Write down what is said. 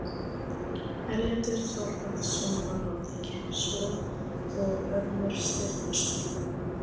Erlendur Þorvarðarson var á alþingi, svo og Ormur Sturluson.